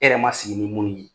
E yɛrɛ ma sigi ni mun ye !